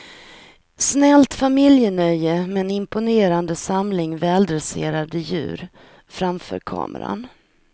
Snällt familjenöje med en imponerande samling väldresserade djur framför kameran.